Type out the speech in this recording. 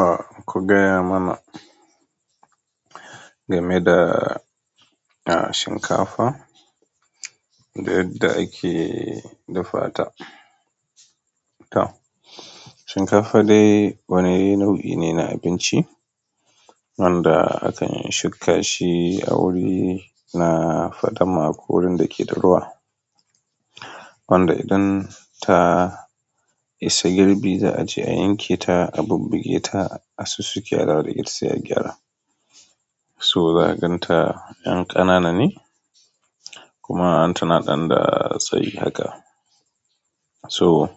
Ah, ku gaya mana game da, ah, shinkafa da yadda ake dafata. Tau shinkafa dai wani nau'i ne na abinci wanda akan shuka shi a wuri na faɗama ko wurin da ke da ruwa. Wanda idan ta, isa girbi za'ace ayanke ta bubbugeta, asussuke adawo da ita gida to za'a ganta yan ƙanana ne kuma tanada ɗanda tsayi haka. To